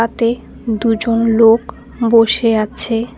দুজন লোক বসে আছে।